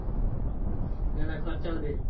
না না খরচা ওদের।